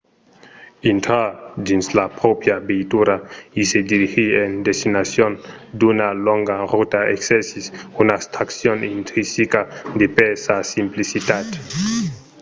intrar dins sa pròpria veitura e se dirigir en destinacion d'una longa rota exercís una atraccion intrinsica de per sa simplicitat